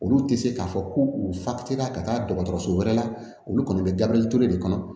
Olu tɛ se k'a fɔ ko u fa tɛ taa ka taa dɔgɔtɔrɔso wɛrɛ la olu kɔni bɛ gabriel ture de kɔnɔ